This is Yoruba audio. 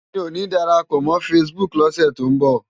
Mi ó ni dárápò mò fãsibúk lòsè tó n bò